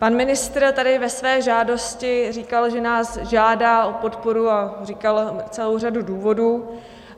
Pan ministr tady ve své žádosti říkal, že nás žádá o podporu, a říkal celou řadu důvodů.